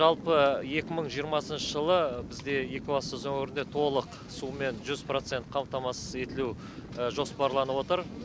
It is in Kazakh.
жалпы екі мың жиырмасыншы жылы бізде екібастұз өңірінде толық сумен жүз процент қамтамасыз етілу жоспарланып отыр